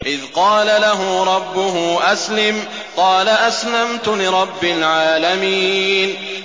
إِذْ قَالَ لَهُ رَبُّهُ أَسْلِمْ ۖ قَالَ أَسْلَمْتُ لِرَبِّ الْعَالَمِينَ